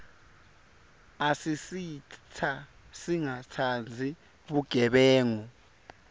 asisita singatsandzi bugebengu